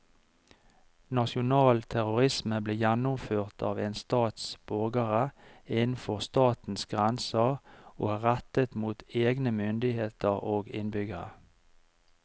Nasjonal terrorisme blir gjennomført av en stats borgere innenfor statens grenser og er rettet mot egne myndigheter og innbyggere.